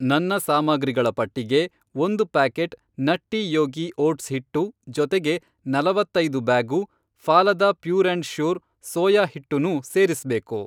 ನನ್ನ ಸಾಮಗ್ರಿಗಳ ಪಟ್ಟಿಗೆ ಒಂದು ಪ್ಯಾಕೆಟ್ ನಟ್ಟಿ ಯೋಗಿ ಓಟ್ಸ್ ಹಿಟ್ಟು ಜೊತೆಗೆ, ನಲವತ್ತೈದು bag Phalada pure and sure soya ಹಿಟ್ಟುನೂ ಸೇರಿಸ್ಬೇಕು.